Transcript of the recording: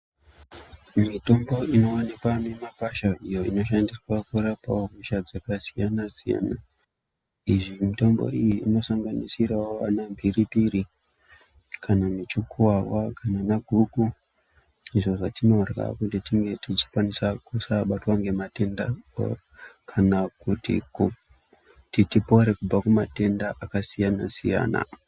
Mitombo inowanikwa mumagwasha iyo inoshandiswa kurapa hosha dzakasiyana siyana iyi mitombo iyi inosanganisirawo, ana mphiripiri, kana muchukuwawa, kana ana guku izvo zvatinorya kuti tinge tisabatwa ngematenda kana kuti tipore kubva kumatenda akasiyana siyana.